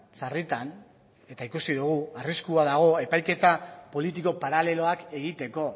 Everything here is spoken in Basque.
sarritan eta ikusi dugu arriskua dago epaiketa politiko paraleloak egiteko